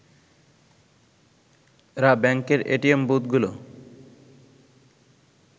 এরা ব্যাংকের এটিএম বুথগুলো